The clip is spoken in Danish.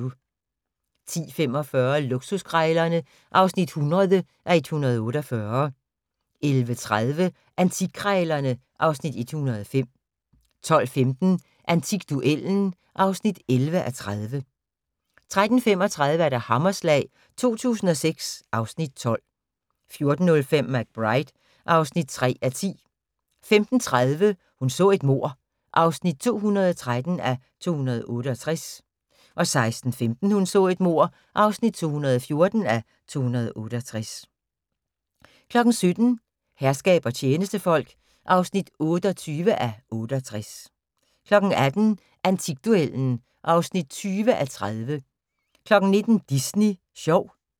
10:45: Luksuskrejlerne (100:148) 11:30: Antikkrejlerne (Afs. 105) 12:15: Antikduellen (11:30) 13:35: Hammerslag 2006 (Afs. 12) 14:05: McBride (3:10) 15:30: Hun så et mord (213:268) 16:15: Hun så et mord (214:268) 17:00: Herskab og tjenestefolk (28:68) 18:00: Antikduellen (20:30) 19:00: Disney sjov